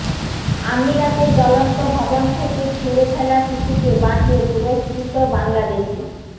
আমিরাতে জ্বলন্ত ভবন থেকে ছুঁড়ে ফেলা শিশুকে বাঁচিয়ে পুরস্কৃত বাংলাদেশি